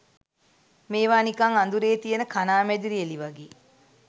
මේවා නිකන් අඳුරේ තියෙන කණාමැදිරි එලි වගේ.